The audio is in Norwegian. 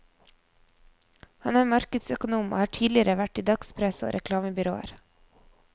Han er markedsøkonom og har tidligere vært i dagspresse og reklamebyråer.